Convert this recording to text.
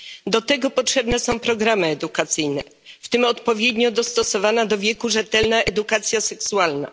Do tego potrzebne są programy edukacyjne, w tym odpowiednio dostosowana do wieku rzetelna edukacja seksualna.